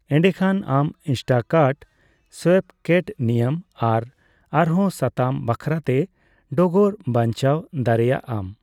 ᱮᱰᱮᱠᱷᱟᱱ, ᱟᱢ ᱤᱱᱥᱴᱟᱠᱠᱟᱴ ᱥᱮᱭᱯᱠᱮᱴ ᱱᱤᱭᱚᱢ ᱟᱨ ᱟᱨᱦᱚᱸ ᱥᱟᱛᱟᱢ ᱵᱟᱠᱷᱟᱨᱟᱛᱮ ᱰᱚᱜᱚᱨ ᱵᱟᱪᱱᱟᱣ ᱫᱟᱨᱮᱭᱟᱜ ᱟᱢ ᱾